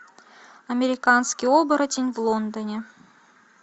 американский оборотень в лондоне